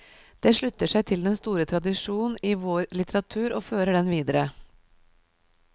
Det slutter seg til den store tradisjon i vårlitteratur og fører den videre.